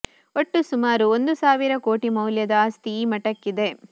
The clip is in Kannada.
ಒಟ್ಟು ಸುಮಾರು ಒಂದು ಸಾವಿರ ಕೊಟಿ ಮೌಲ್ಯದ ಆಸ್ತಿ ಈ ಮಠಕ್ಕಿದೆ